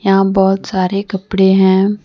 यहां बहुत सारे कपड़े हैं।